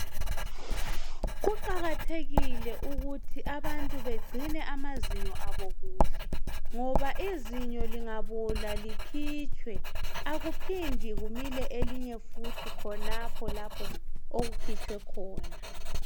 kuqakathekile ukuthi abantu begcine amazinyo abokuhle ngoba izinyo lingabola likhitshwe akuphindi kumile elinye futhi khanopho elikhitshwe khona.